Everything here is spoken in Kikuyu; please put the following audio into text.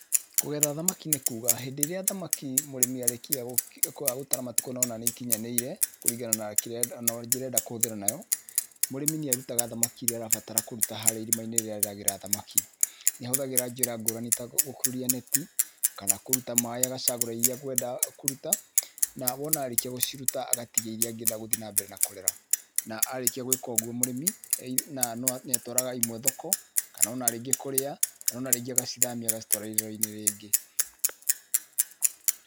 Kũgetha thamaki nĩ kuga hĩndĩ ĩria thamaki mũrĩmĩ arĩkia gũtara matukũ na ona nĩ ikĩnyanĩire kũrĩngana na kĩria njĩra ĩria arenda kũhũthira nayo, mũrĩmĩ nĩarutaga thamaki iria arabatara kũruta haria irima-inĩ rĩria rĩragera thamaki, nĩ ahũthagĩra njĩra ngũrani ta gũkũrũria neti, kana kũrũta maĩ agacagũra ĩria akwenda kũruta, na wona arĩkia gũciruta agatigia ĩria angĩenda gũthiĩ na mbere na kũrera, na arĩkia gwĩka ũgũo mũrĩmi, nĩ atwaraga imwe thoko, kana ona rĩngĩ kũria, kana ona rĩngĩ agacithamia agacitwaro irere-inĩ rĩngĩ.